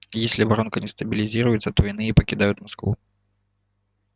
если воронка не стабилизируется то иные покидают москву